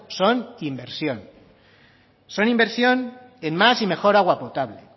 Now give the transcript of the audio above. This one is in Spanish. son inversión son inversión en más y mejor agua potable